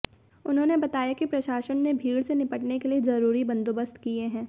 उन्होंने बताया कि प्रशासन ने भीड़ से निपटने के लिए जरूरी बंदोबस्त किए हैं